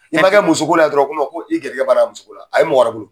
I makɛ musoko la dɔrɔn i garijigƐ bannen o musoko la a ye mɔgɔ wƐrƐ bolo